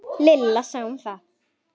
Lilla sá um það.